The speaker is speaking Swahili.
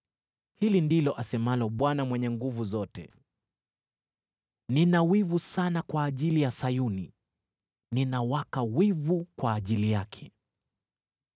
Hili ndilo asemalo Bwana Mwenye Nguvu Zote: “Nina wivu sana kwa ajili ya Sayuni, ninawaka wivu kwa ajili yake.”